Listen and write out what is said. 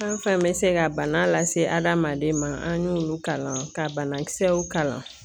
Fɛn fɛn be se ga bana lase adamaden ma an y'olu kalan ka banakisɛw kalan